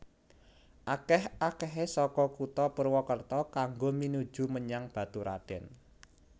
Akèh akèhé saka Kutha Purwokerto kanggo minuju menyang Baturadèn